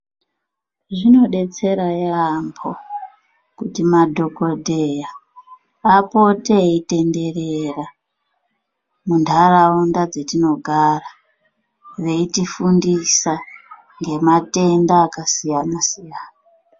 Zvinodetsera yaampo kuti madhokodheya apote eitenderera muntaraunda dzatinogara veiti fundisa ngematenda akasiyana siyana.